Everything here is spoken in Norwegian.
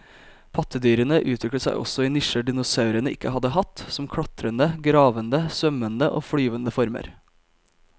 Pattedyrene utviklet seg også i nisjer dinosaurene ikke hadde hatt, som klatrende, gravende, svømmende og flyvende former.